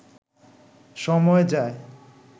সময় যায়